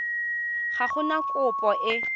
ga go na kopo e